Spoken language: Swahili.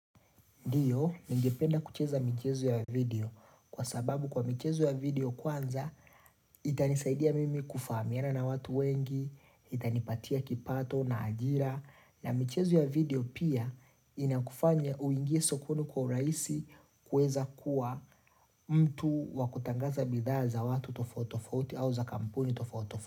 Ndiyo, ningependa kucheza mchezo ya video kwa sababu kwa mchezo ya video kwanza itanisaidia mimi kufahamiana na watu wengi, itanipatia kipato na ajira na michezo ya video pia inakufanya uingie sokoni kwa rahisi kuweza kuwa mtu wakutangaza bidhaa za watu tofauti tofauti au za kampuni tofauti tofauti.